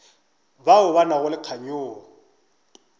bao ba nago le kganyogo